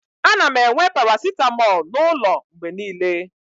ana m enwe paracetamol n'ụlọ mgbe niile